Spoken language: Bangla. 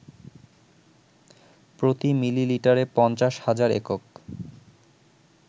প্রতি মিলিলিটারে ৫০,০০০ একক